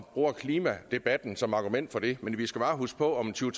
bruger klimadebatten som argument for det men vi skal bare huske på at om tyve